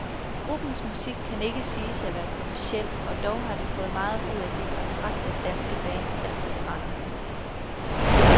Gruppens musik kan ikke siges at være kommerciel, og dog har de fået meget ud af de kontrakter, danske bands altid strander med.